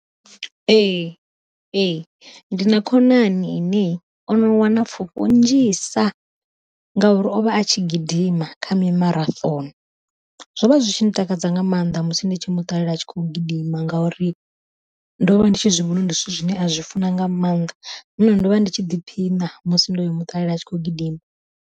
Ee ndi na khonani ine ono wana pfhufho nnzhisa, ngauri o vha a tshi gidima kha mimaraṱhono zwo vha zwi zwi tshi ndi takadza nga maanḓa musi ndi tshi muṱalela a tshi khou gidima. Ngauri ndo vha ndi tshi zwivhona uri ndi zwithu zwine a zwi funa nga maanḓa nahone ndo vha ndi tshi ḓiphina musi ndo muṱalela a tshi khou gidima.